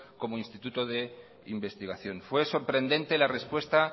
como instituto de investigación fue sorprendente la respuesta